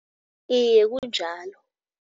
Iye kunjalo.